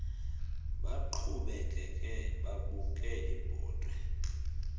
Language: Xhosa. baqhubekeke babuke ibhotwe